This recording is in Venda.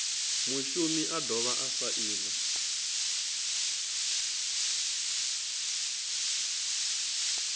mushumi a dovha a saina